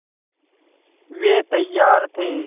वे तैयार थे